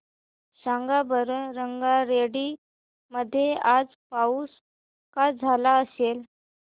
सांगा बरं रंगारेड्डी मध्ये आज पाऊस का झाला असेल